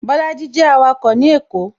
Bolaji jẹ awako ní èkó